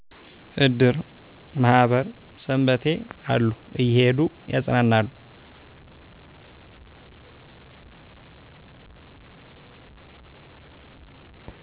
እድር ማህበር ሠንበቴ አሉ እየሄዱ ያጽናናሉ